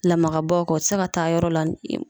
Lamaka bɔ kɔ ,o te se ka taa yɔrɔ la